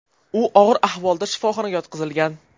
U og‘ir ahvolda shifoxonaga yotqizilgan.